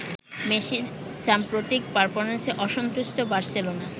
মেসির সাম্প্রতিক পারফরম্যান্সে অসন্তুষ্ট বার্সেলোনা